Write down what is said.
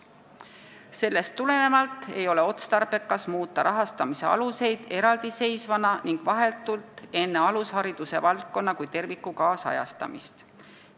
Sellest tulenevalt ei oleks otstarbekas muuta rahastamise aluseid eraldi seisvana ning vahetult enne alushariduse valdkonna kui terviku kaasajastamist.